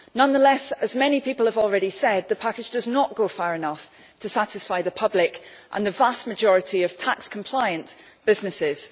Nonetheless, as many people have already said, the package does not go far enough to satisfy the public and the vast majority of tax compliant businesses.